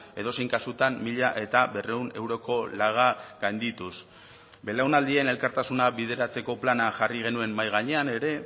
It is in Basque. edozein kasutan mila berrehun euroko laga gaindituz belaunaldien elkartasuna bideratzeko plana jarri genuen mahai gainean ere